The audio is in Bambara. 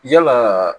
Yalaa